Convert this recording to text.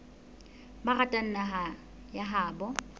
ba ratang naha ya habo